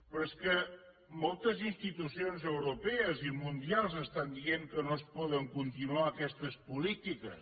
però és que moltes institucions europees i mundials estan dient que no es poden continuar aquestes polítiques